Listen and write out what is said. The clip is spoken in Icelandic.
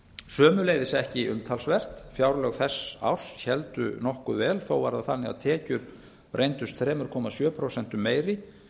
sömuleiðis ekki umtalsvert fjárlög þess árs héldu nokkuð vel þó var það þannig að tekjur reyndust þrjú komma sjö prósentum meiri